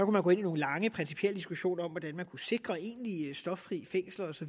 man gå ind i nogle lange principielle diskussioner om hvordan man kunne sikre egentlig stoffri fængsler osv